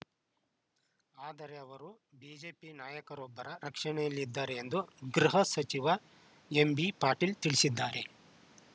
ಆದರೆ ಅವರು ಬಿಜೆಪಿ ನಾಯಕರೊಬ್ಬರ ರಕ್ಷಣೆಯಲ್ಲಿದ್ದಾರೆ ಎಂದು ಗೃಹ ಸಚಿವ ಎಂಬಿಪಾಟೀಲ್‌ ತಿಳಿಸಿದ್ದಾರೆ